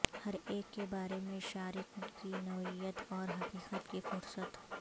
ہر ایک کے بارے میں شارک کی نوعیت اور حقیقت کی فہرست